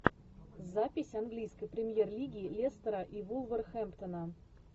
запись английской премьер лиги лестера и вулверхэмптона